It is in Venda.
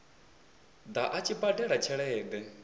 ḓa a tshi badela tshelede